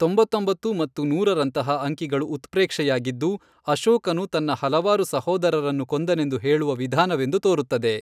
ತೊಂಬತ್ತೊಂಬತ್ತು ಮತ್ತು ನೂರರಂತಹ ಅಂಕಿಗಳು ಉತ್ಪ್ರೇಕ್ಷೆಯಾಗಿದ್ದು, ಅಶೋಕನು ತನ್ನ ಹಲವಾರು ಸಹೋದರರನ್ನು ಕೊಂದನೆಂದು ಹೇಳುವ ವಿಧಾನವೆಂದು ತೋರುತ್ತದೆ.